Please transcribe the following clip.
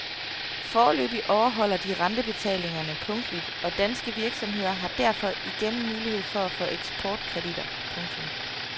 Foreløbig overholder de rentebetalingerne punktligt og danske virksomheder har derfor igen mulighed for at få ekportkreditter. punktum